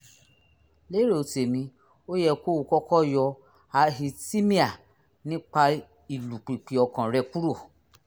lérò tèmi ó yẹ kó o kọ́kọ́ yọ arrhythmia nípa ìlùpìpì ọkàn rẹ kúrò